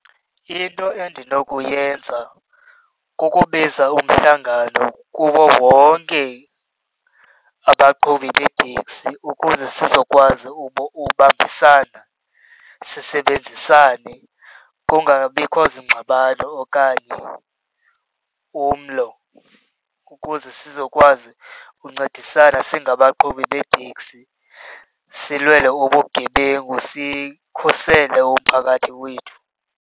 Into endinokuyenza kukubiza umhlangano kuwo wonke abaqhubi beetekisi ukuze sizokwazi ubambisana, sisebenzisane. Kungabikho zingxabano okanye umlo ukuze sizokwazi uncedisana singabanqhubi beeteksi. Silwela ubugebengu sikhusele umphakathi wethu.